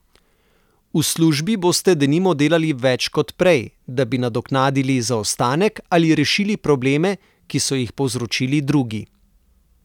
V službi boste denimo delali več kot prej, da bi nadoknadili zaostanek ali rešili probleme, ki so jih povzročili drugi.